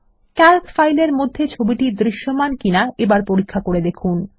Calc ফাইলের মধ্যে চিত্রটি দৃশ্যমান কিনা এবার পরীক্ষা করে দেখুন